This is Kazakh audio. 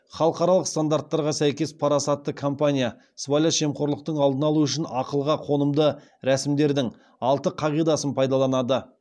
халықаралық стандарттарға сәйкес парасатты компания сыбайлас жемқорлықтың алдын алу үшін ақылға қонымды рәсімдердің алты қағидасын пайдаланады